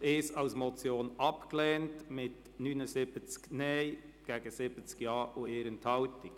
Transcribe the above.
Sie haben Punkt 1 als Motion abgelehnt mit 79 Nein- gegen 70 Ja-Stimmen bei 1 Enthaltung.